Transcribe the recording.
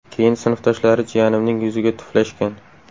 Keyin sinfdoshlari jiyanimning yuziga tuflashgan”.